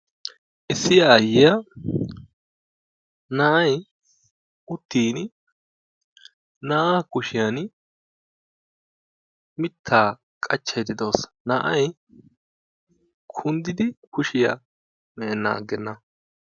Issi aayyiyaa uttin na'ay uttin na'aa kushiyaan mittaaa qachchaydda de'awus na'ay kunddidi kushiyaa me'enan agena.